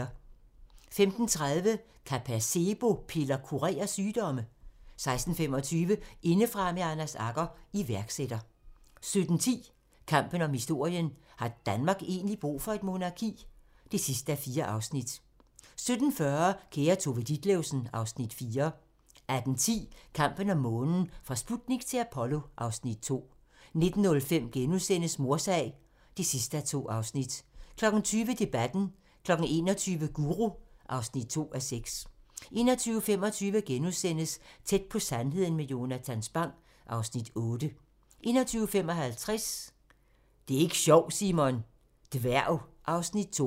15:30: Kan placebo-piller kurere sygdomme? 16:25: Indefra med Anders Agger - iværksætter 17:10: Kampen om historien - har Danmark egentlig brug for et monarki? (4:4) 17:40: Kære Tove Ditlevsen (Afs. 4) 18:10: Kampen om månen - fra Sputnik til Apollo (Afs. 2) 19:05: Mordsag (2:2)* 20:00: Debatten 21:00: Guru (2:6) 21:25: Tæt på sandheden med Jonatan Spang (Afs. 8)* 21:55: Det er ik' sjovt, Simon! - Dværg (Afs. 2)